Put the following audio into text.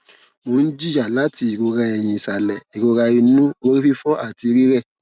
mo n jiya lati irora eyin isale irora inu orififo ati rirẹ